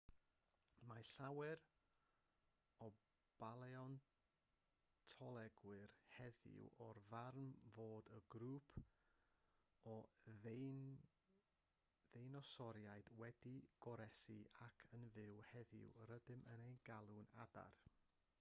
mae llawer o baleontolegwyr heddiw o'r farn fod un grŵp o ddeinosoriaid wedi goroesi ac yn fyw heddiw rydym yn eu galw'n adar